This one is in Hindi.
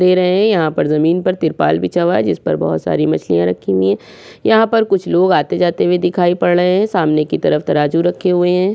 दे रहे हैं यहाँ पर जमीन पर तिरपाल बिछा हुआ है जिस पर बोहोत सारे मछलिया रखी हुई हैं यहाँ पर कुछ लोग आते-जाते हुए दिखाई पड़ रहे हैं सामने की तरफ तराजू रखे हुए हैं।